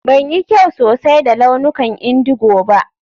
Ban yi kyau sosai da launukan indigo ba.